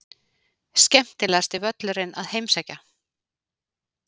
Skemmtilegasti völlurinn að heimsækja?